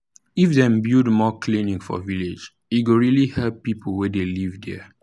if dem build more clinic for village e go really help people wey dey live there.